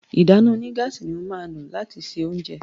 ìdáná onígáàsì ní má lo lati ṣe oúnjẹ.